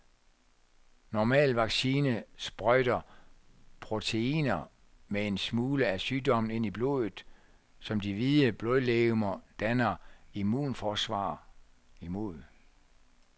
Normal vaccine sprøjter proteiner med en smule af sygdommen ind i blodet, som de hvide blodlegemer danner immunforsvar imod.